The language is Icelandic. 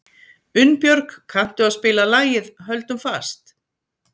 Unnbjörg, kanntu að spila lagið „Höldum fast“?